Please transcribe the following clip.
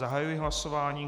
Zahajuji hlasování.